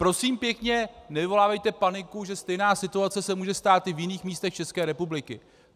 Prosím pěkně, nevyvolávejte paniku, že stejná situace se může stát i v jiných místech České republiky.